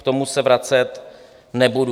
K tomu se vracet nebudu.